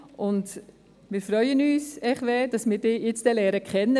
Hervé Gullotti, wir freuen uns, dass wir Sie jetzt kennenlernen.